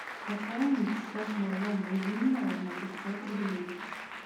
пополнить счет моего мобильного на пятьсот рублей